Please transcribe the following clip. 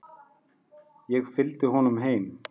Ég fylgdi honum heim.